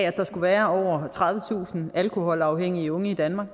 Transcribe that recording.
at der skulle være over tredivetusind alkoholafhængige unge i danmark